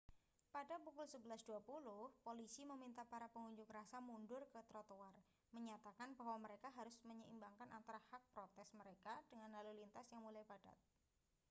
pada pukul 11.20 polisi meminta para pengunjuk rasa mundur ke trotoar menyatakan bahwa mereka harus menyeimbangkan antara hak protes mereka dengan lalu lintas yang mulai padat